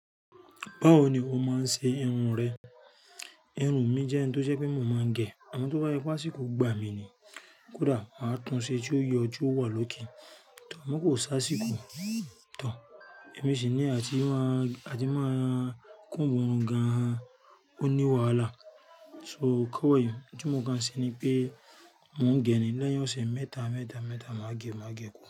Báwo ni o máa ń ṣe irun rẹ? Irun mi jẹ́ ohun tó ṣe pé mò mọ́ ń gẹ. Àmọ tó bá yé pá síkò gba mi ni. Kódà máa tún ṣe tí ó yọ, tí ó wà lókè. Àmọ kò sá sikò tán. Èmi sì ní yì àti má àti má comb irun gan. Ó ní wàhálà. So kọ̀wé yẹn. Ohun tí mò ń kan ṣe ni pé mò ń gẹ ni lẹ́yìn ọ̀sẹ̀ mẹ́ta, mẹ́ta, mẹ́ta màá gẹ̀, màá gẹ̀ kúrú.